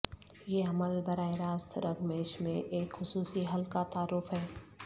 یہ عمل براہ راست رگ میش میں ایک خصوصی حل کا تعارف ہے